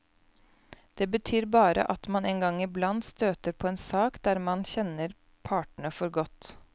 Det betyr bare at man en gang i blant støter på en sak der man kjenner partene for godt.